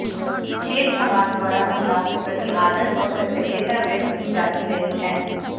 शेष समाज द्वारा महिलाओं के प्रति आदर और कृतज्ञता व्यक्त की जाती रही है